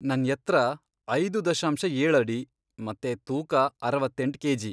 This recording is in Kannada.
ನನ್ ಎತ್ರ ಐದು ದಶಾಂಶ ಏಳ್ ಅಡಿ ಮತ್ತೆ ತೂಕ ಅರವತ್ತೆಂಟ್ ಕೆಜಿ.